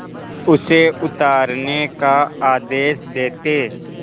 उसे उतारने का आदेश देते